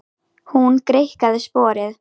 Hún greikkaði sporið.